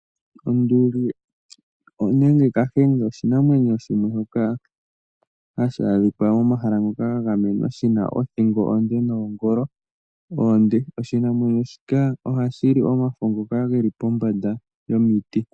Onduli nenge ombahe oshinamwenyo shoka hashi adhika momahala ngoka ga gamenwa, shi na othingo onde noongolo oonde. Oshinamwenyo shika ohashi li omafo ngoka ge li pombanda yomiti.